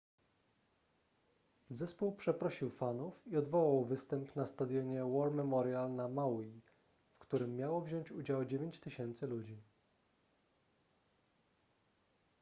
zespół przeprosił fanów i odwołał występ na stadionie war memorial na maui w którym miało wziąć udział 9000 ludzi